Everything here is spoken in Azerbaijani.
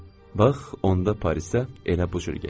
Bax, onda Parisdə elə bu cür getdim.